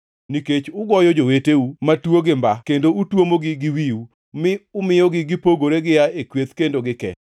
Nikech ugoyo joweteu matuo gi mba kendo utuomogi gi wiu, mi umiyogi gipogore gia e kweth kendo gikee,